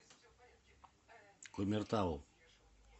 кумертау